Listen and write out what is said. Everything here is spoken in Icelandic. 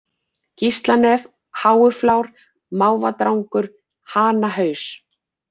Gíslanef, Háuflár, Mávadrangur, Hanahaus